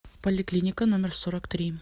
поликлиника номер сорок три